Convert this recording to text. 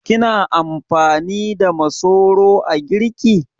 Kina amfani da masoro a girki?